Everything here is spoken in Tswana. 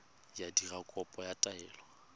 go dira kopo ya taelo